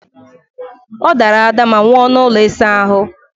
Ọdara ada ma nwụọ n'ụlọ ịsa ahụ!